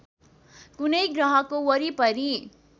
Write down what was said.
कुनै ग्रहको वरिपरि